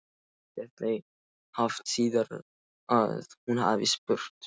Var eftir þeim haft síðar að hún hafi spurt